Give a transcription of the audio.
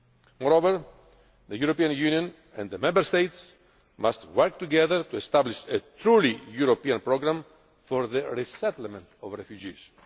Moreover, the European Union and the Member States must work together to establish a truly European programme for the resettlement of refugees.